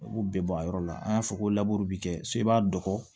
U b'u bɛɛ bɔ a yɔrɔ la an y'a fɔ ko laburu bi kɛ so i b'a dogo